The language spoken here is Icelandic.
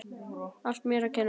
Allt mér að kenna.